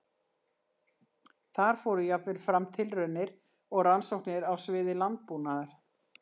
Þar fóru jafnvel fram tilraunir og rannsóknir á sviði landbúnaðar.